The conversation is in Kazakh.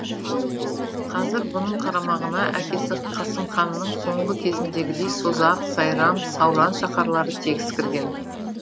қазір бұның қарамағына әкесі қасым ханның соңғы кезіндегідей созақ сайрам сауран шаһарлары тегіс кірген